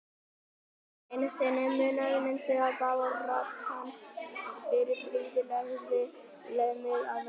En einu sinni munaði minnstu að baráttan fyrir friði legði mig að velli.